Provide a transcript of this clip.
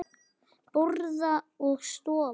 Borða og sofa.